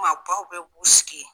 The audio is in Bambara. Maabaw bɛ b'u sigi.